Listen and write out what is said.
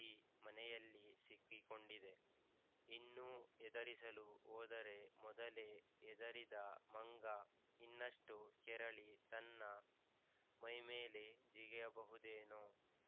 ಈ ಮನೆಯಲ್ಲಿ ಸಿಕ್ಕಿಕೊಂಡಿದೆ ಇನ್ನೂ ಹೆದರಿಸಲು ಹೋದರೆ ಮೊದಲೇ ಹೆದರಿದ ಮಂಗ ಇನ್ನಷ್ಟು ಕೆರಳಿ ತನ್ನ ಮೈಮೇಲೇ ಜಿಗಿಯಬಹುದೇನೋ